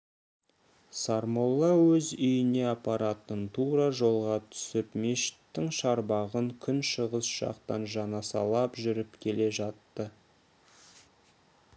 сармолла өз үйіне апаратын тура жолға түсіп мешіттің шарбағын күн шығыс жақтан жанасалап жүріп келе жатты